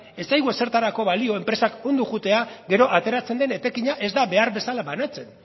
ez zaigu ezertarako balio enpresak ondo joatea gero ateratzen den etekina ez da behar bezala banatzen